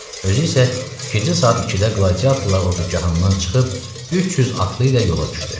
Özü isə gecə saat 2-də qladiatorlar ordugahından çıxıb 300 atlı ilə yola düşdü.